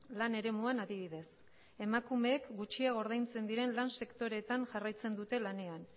lan eremuan adibidez emakumeek gutxiago ordaintzen diren lan sektoreetan jarraitzen dute lanean